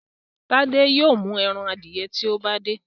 Tade yóò mú èràn adiẹ tí o bá de.